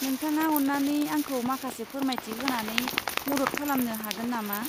नोंथाङा अन्नानै आंखौ माखासे फोरमायथि होनानै मदद खालामनो हागोन नामा?